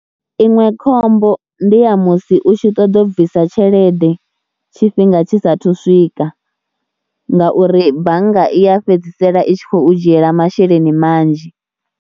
Iṅwe khombo ndi ya musi u tshi ṱoḓa u bvisa tshelede tshifhinga tshi saathu swika ngauri bannga i ya fhedzisela i tshi khou dzhiela masheleni manzhi.